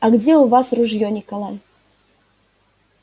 а где у вас ружьё николай